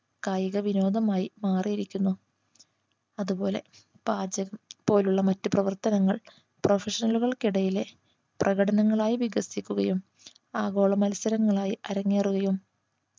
കായിക വിനോദമായി മാറിയിരിക്കുന്നു അതുപോലെ പാചകം പോലുള്ള മറ്റു പ്രവർത്തനങ്ങൾ professional ഉകൾക്കിടയിലെ പ്രകടനങ്ങളായി വികസിക്കുകയും ആഗോള മത്സരങ്ങളായി അരങ്ങേറുകയും